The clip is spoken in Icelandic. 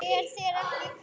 Er þér ekki kalt?